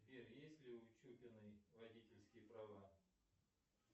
сбер есть ли у чупиной водительские права